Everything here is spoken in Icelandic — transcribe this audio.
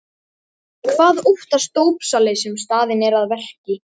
Hvað óttast dópsali sem staðinn er að verki?